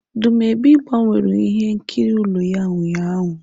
Dumebi gbanweru ihe nkiri ụlọ ya ụnyahụ.